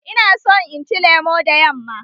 Ina son inci lemo da yamma.